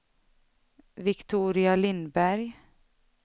Viktoria Lindberg